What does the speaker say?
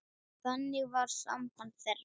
Þannig var samband þeirra.